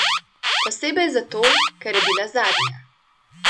Posebej zato, ker je bila zadnja.